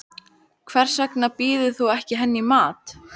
Hvers vegna býður þú henni ekki í mat.